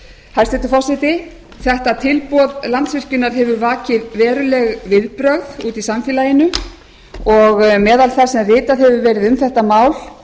hæstvirtur forseti þetta tilboð landsvirkjunar hefur vakið veruleg viðbrögð úti í samfélaginu og meðal þess sem vitað hefur verið um þetta mál